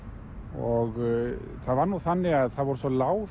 og það var nú þannig að það voru svo lág